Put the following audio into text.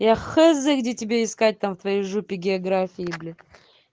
я хз где тебя искать там в твоей жопе географии блин